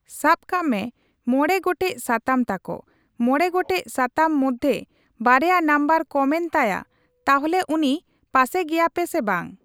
ᱥᱟᱵ ᱠᱟᱜ ᱢᱮ ᱢᱚᱬᱮ ᱜᱚᱴᱮᱡ ᱥᱟᱛᱟᱢ ᱛᱟᱠᱚ ᱢᱚᱬᱮ ᱜᱚᱴᱮᱡ ᱥᱟᱛᱟᱢ ᱢᱚᱫᱽᱫᱷᱮ ᱢᱚᱫᱫᱷᱮ ᱵᱟᱨᱭᱟ ᱱᱟᱢᱵᱟᱨ ᱠᱚᱢ ᱮᱱ ᱛᱟᱭᱟ ᱛᱟᱦᱞᱮ ᱩᱱᱤ ᱯᱟᱥᱮ ᱜᱮᱭᱟᱯᱮ ᱥᱮ ᱵᱟᱝ ?